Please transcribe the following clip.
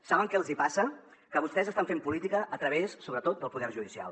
saben què els hi passa que vostès estan fent política a través sobretot del poder judicial